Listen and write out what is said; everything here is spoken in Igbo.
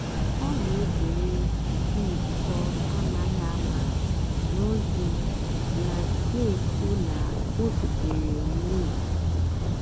ọ́ nà-èzèré ị́kpị́ njìkọ́ àmághị́ àmá nà ózì nà-ékwú ná ó síteré nà ùlọ àkụ́.